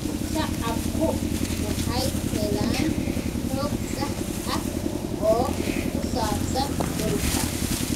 Shacabku waxay helaan xog sax ah oo ku saabsan dhulka.